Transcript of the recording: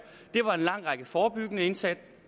det var en lang række forebyggende indsatser